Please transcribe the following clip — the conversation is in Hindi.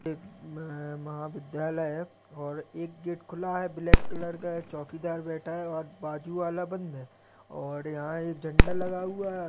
एक महाविद्यालय है और एक गेट खुला है ब्लैक कलर का चौकीदार बैठा हुआ है और बाजू वाला बंद है और यहाँ एक झण्डा लगा हुआ है।